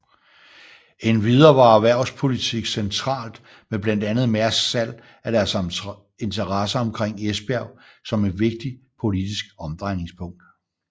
Endvidere var erhvervspolitik centralt med blandt andet Mærsks salg af deres interesser omkring Esbjerg som et vigtigt politisk omdrejningspunkt